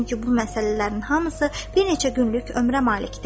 Çünki bu məsələlərin hamısı bir neçə günlük ömrə malikdir.